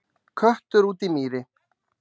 Köttur út í mýri